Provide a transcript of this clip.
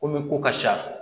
Komi ko ka sa